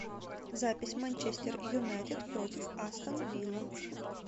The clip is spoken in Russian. запись манчестер юнайтед против астон вилла